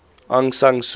aung san suu